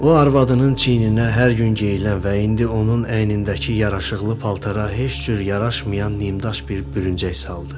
O arvadının çiyninə hər gün geyilən və indi onun əynindəki yaraşıqlı paltara heç cür yaraşmayan nimdaş bir bürüncək saldı.